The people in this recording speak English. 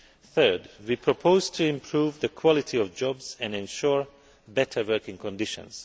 Third, we propose to improve the quality of jobs and ensure better working conditions.